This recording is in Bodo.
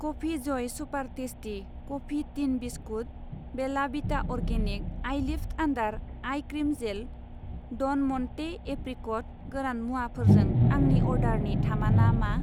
Coffee joy super tasty coffee tin बिस्कुट, Bella Vita organic eyelift under eye cream gel, ड'न म'न्टे एप्रिक'ट गोरान मुवाफोरजों आंनि अर्डारनि थामाना मा?